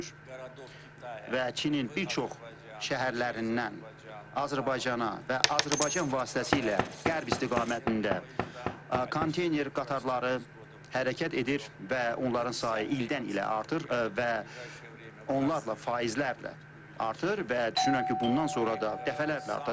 Və Çinin bir çox şəhərlərindən Azərbaycana və Azərbaycan vasitəsilə qərb istiqamətində konteyner qatarları hərəkət edir və onların sayı ildən ilə artır və onlarla faizlərlə artır və düşünürəm ki, bundan sonra da dəfələrlə artacaq.